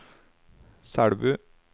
Selbu